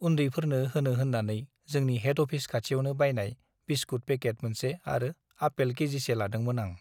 उन्दैफोरनो होनो होन्नानै जोंनि हेड अफिस खाथियावनो बायनाय बिस्कुट पेकेट मोनसे आरो आपेल केजिसे लादोंमोन आं ।